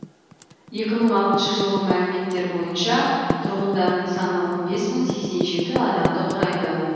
екі мың алтыншы жылғы мәліметтер бойынша тұрғындарының саны он бес мың сексен жеті адамды құрайды